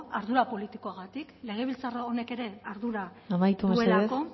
ardura politikogatik legebiltzar honek ere ardura duelako amaitu mesedez